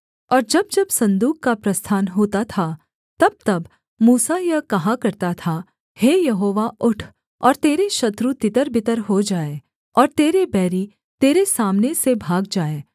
और जब जब सन्दूक का प्रस्थान होता था तबतब मूसा यह कहा करता था हे यहोवा उठ और तेरे शत्रु तितरबितर हो जाएँ और तेरे बैरी तेरे सामने से भाग जाएँ